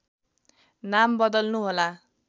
नाम बदल्नु होला